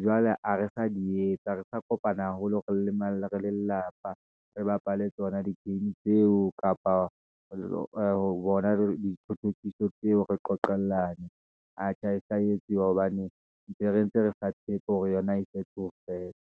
jwale ha re sa di etsa, ha re sa kopana haholo re le lelapa, re bapale tsona di-game tseo, kapa ee rona dithothokiso tseo re qoqelane, aa, tjha ha e sa etsuwa, hobane ntse re, ntse re tshepo hore yona e fetse ho fela.